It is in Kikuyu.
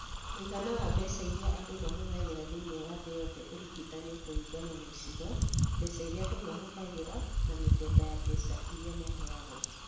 Mũigana wa mbeca iria andũ mahũthagĩra thĩinĩ wa thĩ yothe ũringithanio kũringana na icigo, mbeca iria andũ mahũthagĩra, na mĩthemba ya mbeca iria maheagwo.